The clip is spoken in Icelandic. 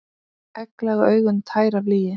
Egglaga augun tær af lygi.